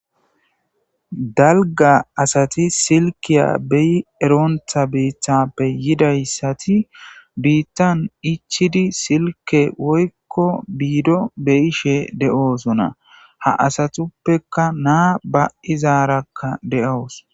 Dalga asati silkiya be'i eronta bitape yidaysati bitan ichidi silke woyko bido be'ishe de'osona ha asatupeka na'a ba'izaraka de'awus.